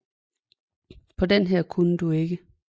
På den her kunne du ikke